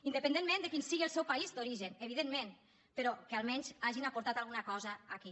independentment de quin sigui el seu país d’origen evidentment però que almenys hagin aportat alguna cosa aquí